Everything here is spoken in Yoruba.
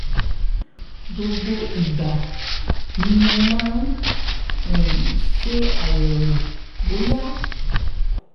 gbogbo ìgbà ni mo mo máa um ń ṣàyẹ̀wò bóyá